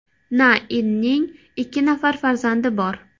Na Inning ikki nafar farzandi bor.